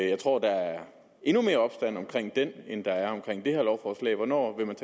jeg tror at der er endnu mere opstand omkring den end der er omkring det her lovforslag hvornår vil man